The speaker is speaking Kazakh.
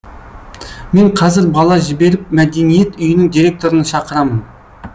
мен қазір бала жіберіп мәдениет үйінің директорын шақырамын